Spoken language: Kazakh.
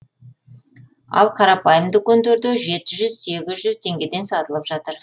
ал қарапайым дүкендерде жеті жүз сегіз жүз теңгеден сатылып жатыр